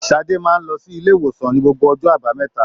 Sade máa n lọ silé-ìwòsàn ní gbogbo ọjọ́ àbámẹ́ta